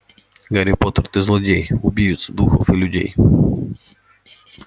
гарри поттер ты злодей убивец духов и людей